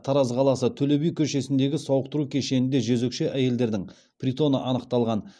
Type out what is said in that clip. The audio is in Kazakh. тараз қаласы төле би көшесіндегі сауықтыру кешенінде жезөкше әйелдердің притоны анықталған